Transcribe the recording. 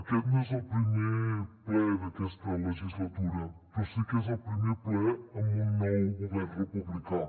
aquest no és el primer ple d’aquesta legislatura però sí que és el primer ple amb un nou govern republicà